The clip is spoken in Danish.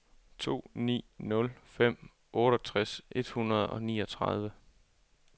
to ni nul fem otteogtres et hundrede og niogtredive